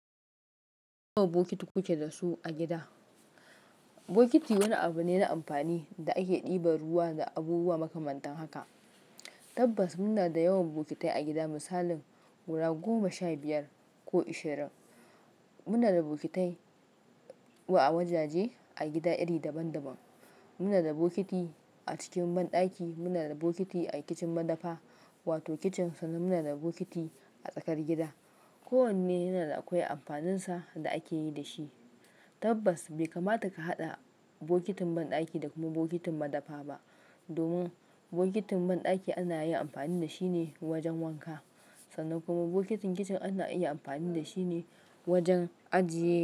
Yawan bokiti kuke da su a gida? Bokiti wani abu ne na amfani da ake ɗiba ruwa da abubuwa makamantan haka. Tabbas muna da yawan bokitai a gida misalin guda goma sha biyar ko ishirin. Muna da bokitai wajaje a gida iri daban-daban. Muna da bokiti a cikin banɗaki, muna da bokiti a kicin madafa wato kicin sannan muna da bokiti a tsakar gida. Ko wanne yana da akwai amfaninsa da akeyi dashi. Tabbas bai kamata ka hada bokotin bandaki da kuma bokitin madafa ba domin bokitin banɗaki ana yin amfani da shi ne wajen wanka. Sannan kuma bokitin kicin ana iya amfani da shi ne wajen ajiye.